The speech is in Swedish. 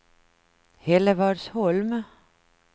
Hällevadsholm